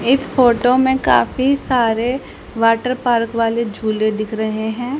इस फोटो में काफी सारे वाटर पार्क वाले झूले दिख रहे हैं।